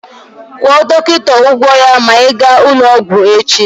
Kwụọ dọkịta ụgwọ ya ma ị gaa n'ụlọọgwụ echi!